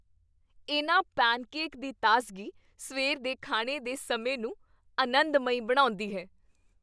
ਇਨ੍ਹਾਂ ਪੇਨਕੇਕ ਦੀ ਤਾਜ਼ਗੀ ਸਵੇਰ ਦੇ ਖਾਣੇ ਦੇ ਸਮੇਂ ਨੂੰ ਅਨੰਦਮਈ ਬਣਾਉਂਦੀ ਹੈ।